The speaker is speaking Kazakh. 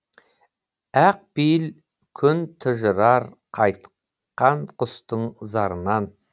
ақ пейіл күн тұнжырар қайтқан құстың зарынан